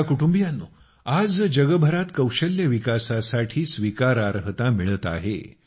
माझ्या कुटुंबीयांनो आज जगभरात कौशल्य विकासासाठी स्वीकारार्हता मिळत आहे